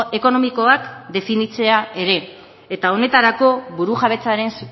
ekonomikoak definitzea ere eta honetarako burujabetzaren